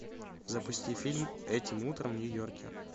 запусти фильм этим утром в нью йорке